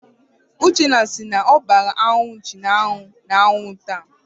Uchenna si na ọ gbaara anụ nchi ahụ n'anwụ taa.